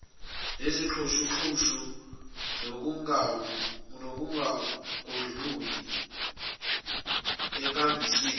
nezixhushuxhushu nokungangudluki enkambisweni